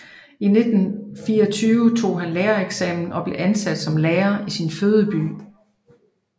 I 1924 tog han lærereksamen og blev ansat som lærer i sin fødeby